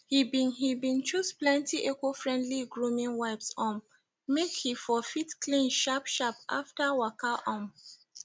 he been he been choose plenty eco friendly grooming wipes um make he for fit clean sharp sharp after waka um